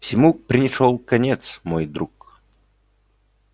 всему пришёл конец мой друг